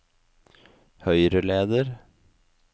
høyreleder